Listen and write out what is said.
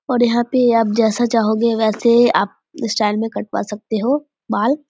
और यहां पे आप जैसा चाहोगे वैसे एए आप स्टाइल में कटवा सकते हो बाल।